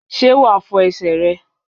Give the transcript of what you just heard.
Sé wà fo esè re?